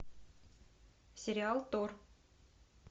сериал тор